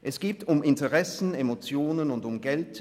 Es geht um Interessen, Emotionen und um Geld;